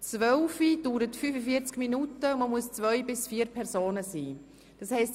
Es dauert 45 Minuten und kann von 2 bis 4 Personen gespielt werden.